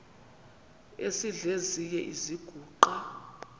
esidl eziny iziguqa